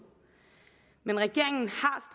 men regeringen